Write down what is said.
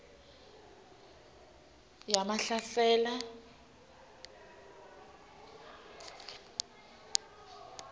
yamahlasela